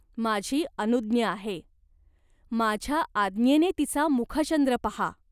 माझी अनुज्ञा आहे. माझ्या आज्ञेने तिचा मुखचंद्र पाहा.